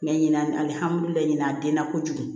Mɛ ɲinan alihamidulilayi a den na kojugu